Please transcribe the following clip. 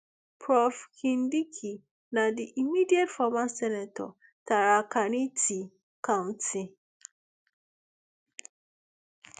prof kindiki na di immediate former senator tarakaniti county